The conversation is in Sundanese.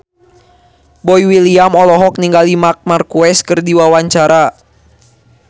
Boy William olohok ningali Marc Marquez keur diwawancara